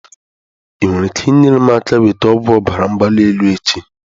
Ị nwere ike inyere m aka nweta ọgwụ ọbara mgbali elu echi?